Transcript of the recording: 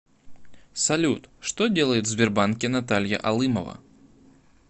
салют что делает в сбербанке наталья алымова